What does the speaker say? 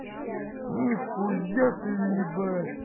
нихуя ты ебать